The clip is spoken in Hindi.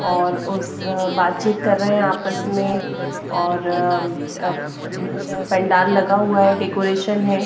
और उस बातचीत कर रहे हैं आपस में और पंडाल लगा हुआ हैडेकोरेशन है।